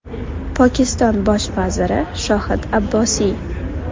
Pokiston bosh vaziri Shohid Abbosiy.